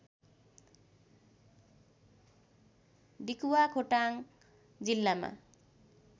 डिकुवा खोटाङ जिल्लामा